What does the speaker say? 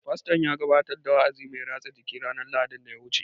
Fasto ya gabatar da wa'azi mai rasa jiki ranar Lahadin daya wuce